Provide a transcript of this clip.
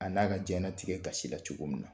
A n'a ka diɲɛna tigɛ gasi la cogo min na.